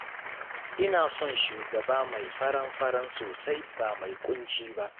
Ina son shugaba mai faran-faran sosai ba mai ƙunci ba